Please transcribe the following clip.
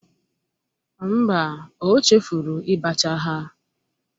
Mba, o chefuru ibacha ha.